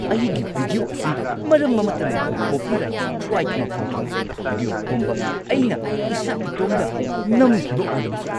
ꯑꯩꯒꯤ ꯚꯤꯗꯤꯑꯣ ꯑꯁꯤ ꯃꯔꯝ ꯑꯃꯠꯇ ꯂꯩꯇꯅ ꯀꯣꯄꯤꯔꯥꯏꯠ ꯁ꯭ꯇ꯭ꯔꯥꯏꯛ ꯑꯃ ꯐꯪꯈꯤ꯫ ꯚꯤꯗꯤꯑꯣ ꯄꯨꯝꯕ ꯑꯩꯅ ꯏꯁꯥ-ꯏꯇꯣꯝꯗ ꯅꯝꯈꯤꯕ ꯑꯣꯏꯔꯕꯁꯨ꯫